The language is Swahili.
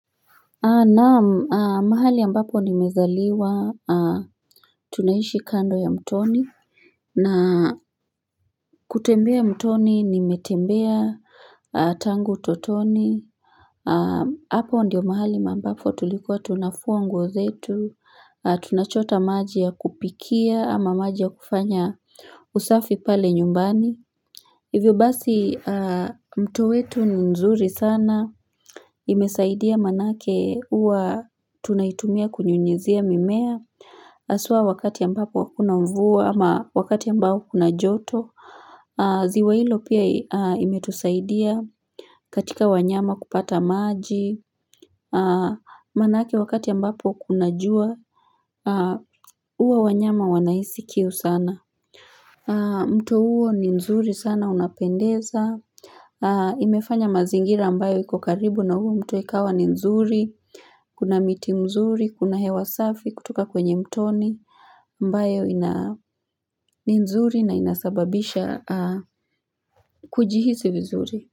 Naam, mahali ambapo nimezaliwa tunaishi kando ya mtoni na kutembea mtoni nimetembea tangu utotoni hapo ndiyo mahali ambapo tulikuwa tunafua nguo zetu, tunachota maji ya kupikia ama maji ya kufanya usafi pale nyumbani Hivyo basi mto wetu ni nzuri sana, imesaidia maanake huwa tunaitumia kunyunyizia mimea, haswa wakati ambapo hakuna mvua ama wakati ambao kuna joto, ziwa hilo pia imetusaidia katika wanyama kupata maji, manake wakati ambapo kuna jua, huwa wanyama wanahisi kiu sana. Mto huo ni mzuri sana unapendeza Imefanya mazingira mbayo iko karibu na huo mto ikawa ni nzuri Kuna miti mzuri, kuna hewa safi kutoka kwenye mtoni ambayo ni nzuri na inasababisha kujihisi vizuri.